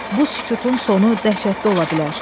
Bu sükutun sonu dəhşətli ola bilər.